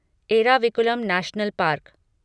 Eravikulam national park